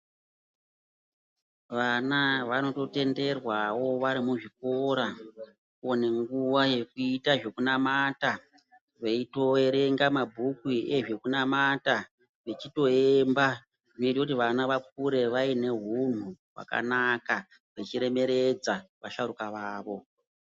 Vana vanondotenderwawo vari muzvikora kuona nguwa yekuita zvekunamata veitoverenga mabhuku veite zvekunamata vechitoemba zvinoite kuti vana vakure vane hunhu hwakanaka vechitoremeredza vasharuka vavo.